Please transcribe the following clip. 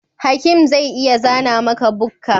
Hakim zai iya zana maka bukka